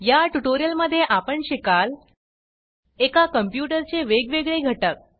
या ट्युटोरियलमध्ये आपण शिकाल एका कंप्यूटर चे वेगवेगळे घटक